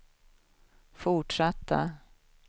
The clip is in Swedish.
fortsatta